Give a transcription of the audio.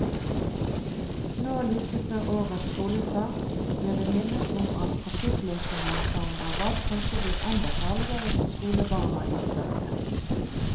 Nå like før årets skolestart, blir vi minnet om at trafikkløsningen som er valgt kanskje blir enda farligere for skolebarna i strøket.